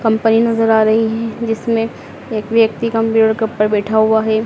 Company नजर आ रही है जिसमें एक व्यक्ति कंप्यूटर कप पर बैठा हुआ है।